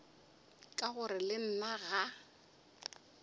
ka gore le nna ga